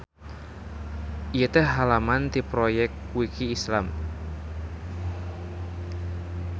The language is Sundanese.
Ieu teh halaman ti Proyekwiki Islam.